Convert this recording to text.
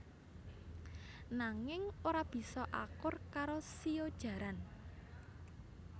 Nanging ora bisa akur karo shio jaran